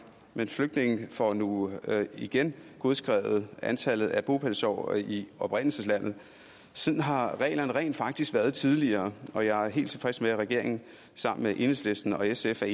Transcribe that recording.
men flygtninge får nu igen godskrevet antallet af bopælsår i oprindelseslandet sådan har reglerne rent faktisk været tidligere og jeg er helt tilfreds med at regeringen enhedslisten og sf er